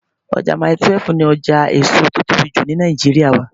Ọjà Mile 12 ni ọjà èso tí ó tóbi jù ni Nàìjíríà wà.